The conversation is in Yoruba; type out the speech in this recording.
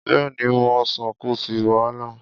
Bẹ́ẹ̀ni, mú ọsàn, kò sí wàhálà.